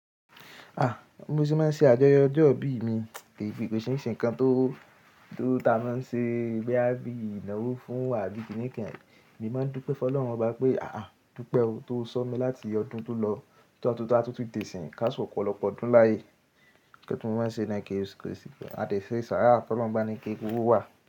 A bi mo se máa ń ṣe àjọyọ̀ ọjọ́ ìbí mi, kí i fi kò ṣe nǹkan tó, tó ta maá ṣe boyí bí ìnáwó fún abí kìnìkìn. Èmi máa ń dúpẹ́ Fọlọ́run bá oba pé "à á dúpẹ́ o tó sọ mí láti ọdún tó lọ tọ́ tun ta tún ti dẹ̀ síìń ká só ọ̀pọ̀lọpọ̀ ọdún láàyè." Kẹ́tù máa ń ṣe 1960, a dẹ̀ ṣe ìsàrá Fọlọ́run bá ni kí eku wó wá.